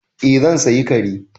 Eh zan sayi kare.